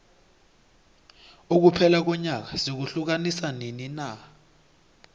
ukuphela konyaka sikuhiukanisa nini na